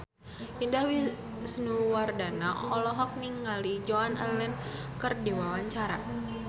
Indah Wisnuwardana olohok ningali Joan Allen keur diwawancara